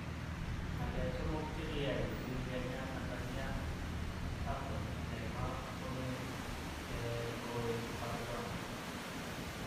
Ngalek 3 chikiyay kosir Kenya Tanzania AFCON Neymar kome he kowek Barcelona?